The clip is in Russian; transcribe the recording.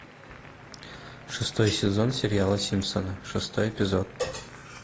шестой сезон сериала симпсоны шестой эпизод